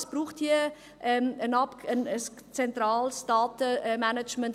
Es braucht hier ein zentrales Datenmanagement.